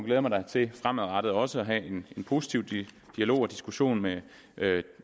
jeg mig da til fremadrettet også at have en positiv dialog og diskussion med